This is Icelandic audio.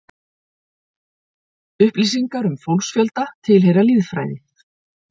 Upplýsingar um fólksfjölda tilheyra lýðfræði.